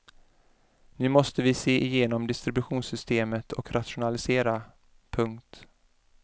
Nu måste vi se igenom distributionssystemet och rationalisera. punkt